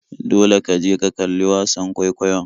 Dole ka je ka kalli wasan kwaikwayon.